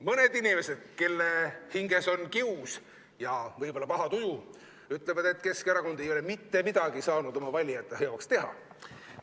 Mõned inimesed, kelle hinges on kius ja paha tuju, võib-olla ütlevad, et Keskerakond ei ole mitte midagi saanud oma valijate jaoks teha.